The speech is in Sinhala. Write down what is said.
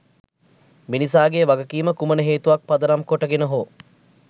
මිනිසාගේ වගකීම කුමන හේතුවක් පදනම් කොට ගෙන හෝ